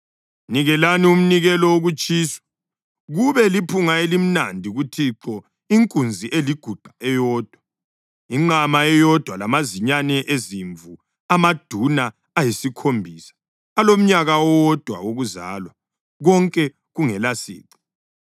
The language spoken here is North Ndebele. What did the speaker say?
Nikelani umnikelo wokutshiswa, kube liphunga elimnandi kuThixo, inkunzi eliguqa eyodwa, inqama eyodwa lamazinyane ezimvu amaduna ayisikhombisa alomnyaka owodwa wokuzalwa, konke kungelasici.